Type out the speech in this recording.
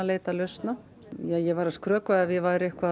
leita lausna ég væri að skrökva ef ég væri